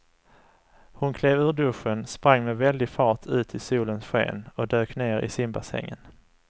Hon klev ur duschen, sprang med väldig fart ut i solens sken och dök ner i simbassängen.